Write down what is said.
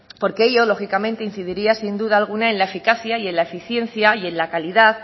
porque ello lógicamente incidiría sin duda alguna en la eficacia y en la eficiencia y en la calidad